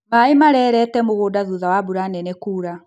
Maaĩ marereete mũgũnda thutha wa mbura nene kuura